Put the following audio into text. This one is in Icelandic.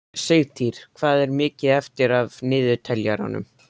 Sigtýr, hvað er mikið eftir af niðurteljaranum?